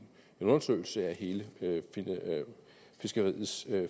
undersøgelse af hele fiskeriets